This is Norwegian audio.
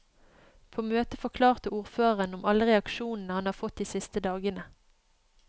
På møtet forklarte ordføreren om alle reaksjonene han har fått de siste dagene.